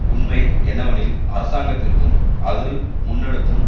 உண்மை என்னவெனில் அரசாங்கத்திற்கும் அது முன்னெடுக்கும்